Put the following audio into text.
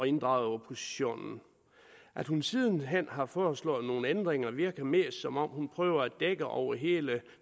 inddrage oppositionen at hun siden hen har foreslået nogle ændringer virker mest som om hun prøver at dække over hele